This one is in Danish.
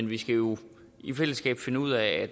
vi skal jo i fællesskab finde ud af